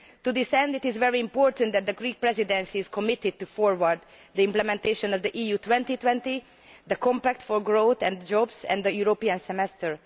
To this end, it is very important that the Greek Presidency is committed to moving forward the implementation of the EU 2020, the Compact for Growth and Jobs and the European Semester.